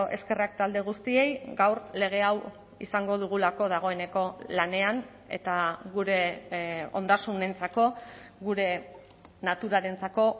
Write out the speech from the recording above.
eskerrak talde guztiei gaur lege hau izango dugulako dagoeneko lanean eta gure ondasunentzako gure naturarentzako